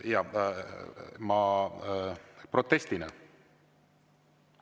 Protestina?